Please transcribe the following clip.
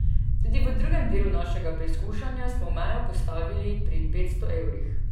Tudi v drugem delu našega preizkušanja smo mejo postavili pri petsto evrih.